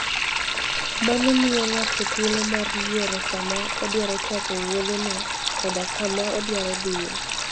Mano miyo ng'ato thuolo mar yiero sa ma odwaro chako wuodheno koda kama odwaro dhiye.